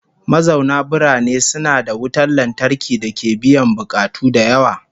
Mazauna birane suna da wutan lantarki dake biyan bukatu da yawa